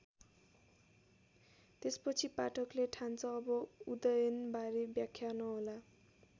त्यसपछि पाठकले ठान्छ अब उदयनबारे व्याख्या नहोला।